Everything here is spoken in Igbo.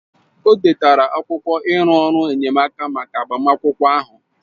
O detara akwụkwọ iru ọrụ enyemaka maka agbamakwụkwọ ahụ